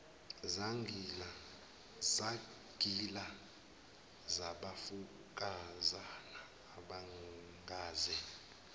zagila zabafokazana abangaze